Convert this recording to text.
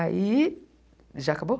Aí, já acabou?